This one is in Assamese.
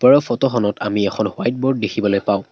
ওপৰৰ ফটোখনত আমি এখন হোৱাইট বোৰ্ড দেখিবলৈ পাওঁ।